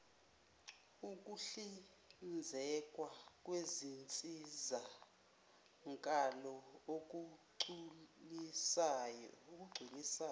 ukuhlinzekwa kwezinsizakalo okugculisayo